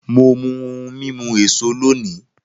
Mo mu ohun mímu èso lónìí